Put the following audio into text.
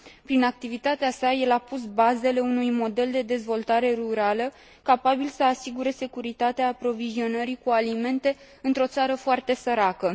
Prin activitatea sa, el a pus bazele unui model de dezvoltare rurală capabil să asigure securitatea aprovizionării cu alimente într o țară foarte săracă.